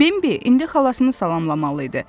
Bimbi indi xalasını salamlamalı idi.